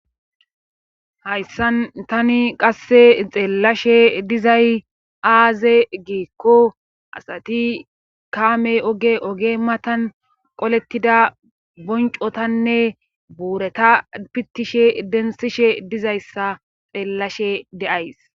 Hayssan tani qasse xeellashe dizay aaze giikko asati kaamey oge oge matan qolettida boncotanne buureta pittishe densishe dizayssa xeellashe de'ays.